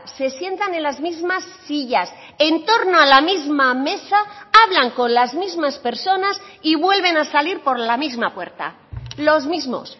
se sientan en las mismas sillas en torno a la misma mesa hablan con las mismas personas y vuelven a salir por la misma puerta los mismos